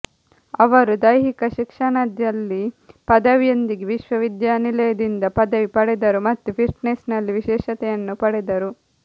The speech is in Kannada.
ಅವರು ದೈಹಿಕ ಶಿಕ್ಷಣದಲ್ಲಿ ಪದವಿಯೊಂದಿಗೆ ವಿಶ್ವವಿದ್ಯಾನಿಲಯದಿಂದ ಪದವಿ ಪಡೆದರು ಮತ್ತು ಫಿಟ್ನೆಸ್ನಲ್ಲಿ ವಿಶೇಷತೆಯನ್ನು ಪಡೆದರು